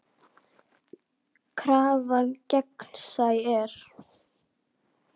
Krafan gegnsæ er.